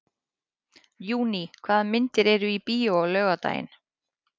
Júní, hvaða myndir eru í bíó á laugardaginn?